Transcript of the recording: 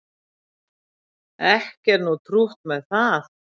Ekki er nú trútt með það